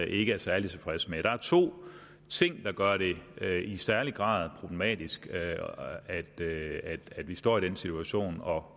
ikke er særlig tilfredse med der er to ting der gør det i særlig grad problematisk at vi står i den situation og